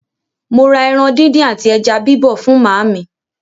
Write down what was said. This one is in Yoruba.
Mo rà ẹran díndín àti ẹja bíbọ̀ fún màámi.